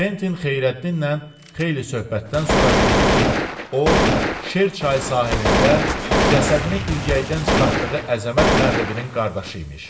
Kventin Xeyrəddinlə xeyli söhbətdən sonra bildi ki, o, Şer çayı sahilində cəsədini ilgəydən çıxartdığı Əzəmət Məğribinin qardaşı imiş.